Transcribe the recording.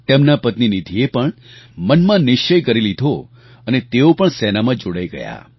તેમનાં પત્ની નીધિએ પણ મનમાં નિશ્ચય કરી લીધો અને તેઓ પણ સેનામાં જોડાઈ ગયા